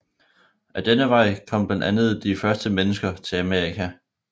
Ad denne vej kom blandt andet de første mennesker til Amerika